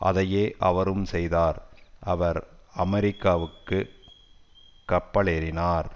அதையே அவரும் செய்தார் அவர் அமெரிக்காவிற்கு கப்பலேறினார்